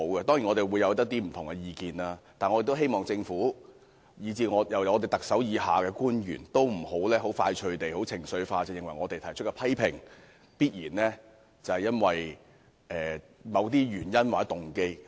當然，大家會抱持不同的意見，但我希望政府及特首以下的官員不要快速或情緒化地認為，我們提出批評，必然是基於某些原因或動機。